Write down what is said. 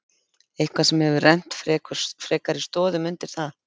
Eitthvað sem hefur rennt frekari stoðum undir það?